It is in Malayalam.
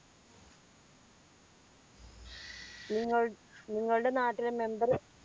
നിങ്ങൾ നിങ്ങളുടെ നാട്ടിലെ member